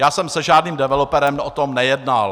Já jsem se žádným developerem o tom nejednal.